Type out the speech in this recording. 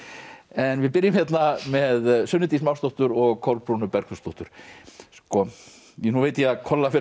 en við byrjum hérna með Sunnu Dís Másdóttur og Kolbrúnu Bergþórsdóttur sko nú veit ég kolla fer